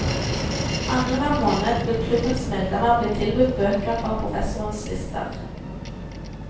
Annenhver måned vil klubbens medlemmer bli tilbudt bøker fra professorenes lister.